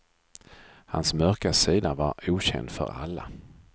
Hans mörka sida var okänd för alla.